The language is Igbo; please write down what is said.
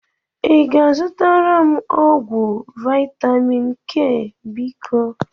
ị ga-azụtara m ọgwụ vitamin K biko?